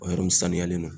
O yɔrɔ nin saniyalen don